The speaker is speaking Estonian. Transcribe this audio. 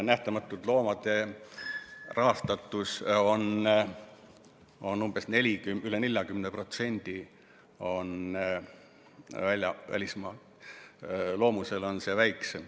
Nähtamatute Loomade rahastuses on üle 40% välismaa raha, Loomusel on see väiksem.